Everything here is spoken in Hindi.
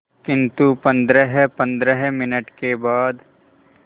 किंतु पंद्रहपंद्रह मिनट के बाद